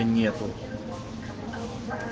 нету